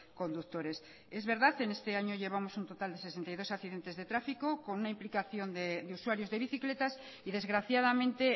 conductores es verdad en este año llevamos un total de sesenta y dos accidentes de tráfico con una implicación de usuarios de bicicletas y desgraciadamente